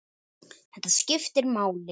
Þetta skiptir máli.